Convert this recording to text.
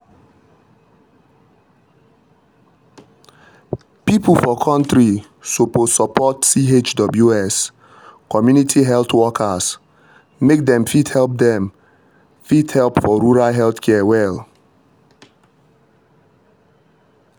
people for country suppose support chws (community health workers) make dem fit help dem fit help for rural health care well.